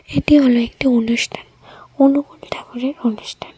এটি হলো একটি অনুষ্ঠান অনুকূল ঠাকুরের অনুষ্ঠান .